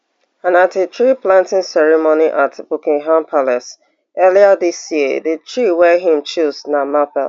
and at a treeplanting ceremony at buckingham palace earlier dis year di tree wey e choose na maple